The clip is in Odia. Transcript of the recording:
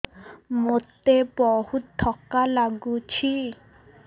ମୋତେ ବହୁତ୍ ଥକା ଲାଗୁଛି